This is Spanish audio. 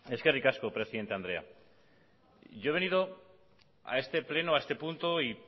eskerrik asko presidenta andrea yo he venido a este pleno a este punto y